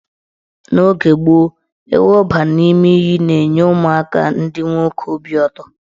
N' oge gboo, ịwụba n' ime iyi na-enye ụmụaka ndị nwoke obi ụtọ.